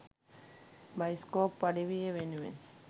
bioscope අඩවිය වෙනුවෙන්